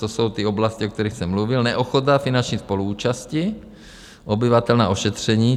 To jsou ty oblasti, o kterých jsem mluvil, neochota finanční spoluúčasti obyvatel na ošetření.